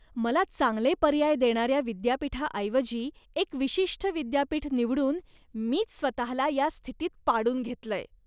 मला चांगले पर्याय देणाऱ्या विद्यापीठाऐवजी एक विशिष्ट विद्यापीठ निवडून मीच स्वतःला या स्थितीत पाडून घेतलंय.